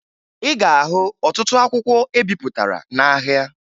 Ị ga-ahụ ọtụtụ akwụkwọ ebipụtara n'ahịa